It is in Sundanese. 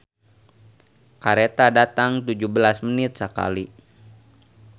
"Kareta datang tujuh belas menit sakali"